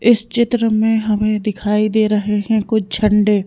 इस चित्र में हमें दिखाई दे रहे हैं कुछ झंडे।